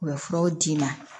U bɛ furaw d'i ma